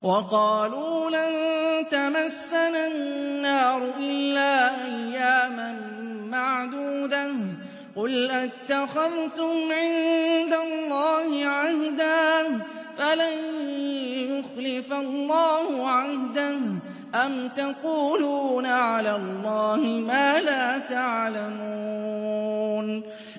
وَقَالُوا لَن تَمَسَّنَا النَّارُ إِلَّا أَيَّامًا مَّعْدُودَةً ۚ قُلْ أَتَّخَذْتُمْ عِندَ اللَّهِ عَهْدًا فَلَن يُخْلِفَ اللَّهُ عَهْدَهُ ۖ أَمْ تَقُولُونَ عَلَى اللَّهِ مَا لَا تَعْلَمُونَ